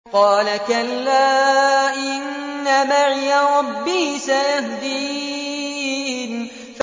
قَالَ كَلَّا ۖ إِنَّ مَعِيَ رَبِّي سَيَهْدِينِ